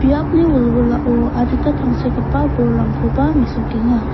biapni wilwilao adita tangsekgipa bolrangkoba mesokenga.